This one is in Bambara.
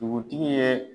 Dugutigi ye